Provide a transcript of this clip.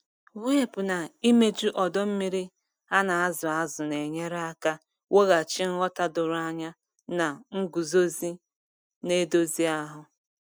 Mwepu na imeju ọdọ mmiri a na-azụ azụ na-enyere aka weghachi nghọta doro anya na nguzozi na-edozi ahụ.